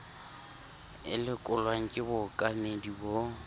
e lekolwang ke bookamedi bo